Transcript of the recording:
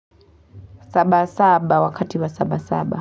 Saba saba wakati wa saba saba.